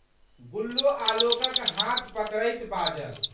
गुल्लो आलोकक हाथ पकड़ैत बाजलि।